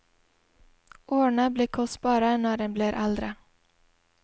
Årene blir kostbare når en blir eldre.